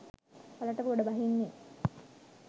වලට ගොඩ බහින්නේ